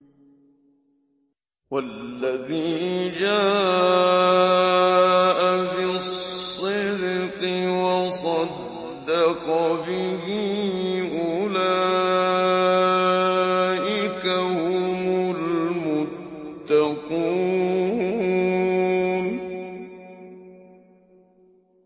وَالَّذِي جَاءَ بِالصِّدْقِ وَصَدَّقَ بِهِ ۙ أُولَٰئِكَ هُمُ الْمُتَّقُونَ